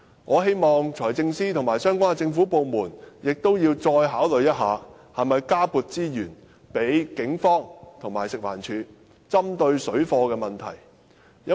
我希望，財政司司長和相關的政府部門能再考慮一下，看看應否加撥資源予警方和食物環境衞生署作應付水貨問題之用。